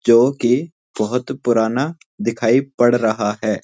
जो कि बहुत पुराना दिखाई पड़ रहा है।